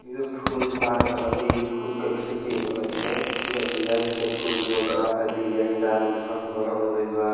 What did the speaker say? ये फूल पार्क ह। ई फूल क खेती होला एईजा पूरा डिजाइन से फूल बोवल बा आ डिजाइनदार घास बनावल गइल बा।